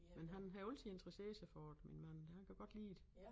Men han har altid interesseret sig for det min mand han kan godt lide det